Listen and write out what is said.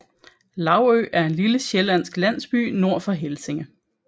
Laugø er en lille sjællandsk landsby nord for Helsinge